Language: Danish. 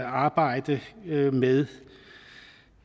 at arbejde med med